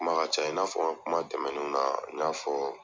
Kuma ka ca i n'a fɔ kuma tɛmɛnen na n y'a fɔ